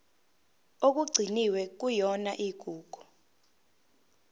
okugcinwe kuyona igugu